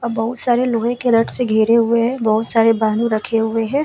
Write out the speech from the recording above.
अ बहुत सारे लोहे के रड से घेरे हुए है बहुत सारे रखे हुए हे ।